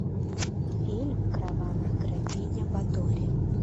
фильм кровавая графиня батори